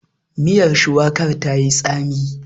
Miyar shuwakar ta yi tsami.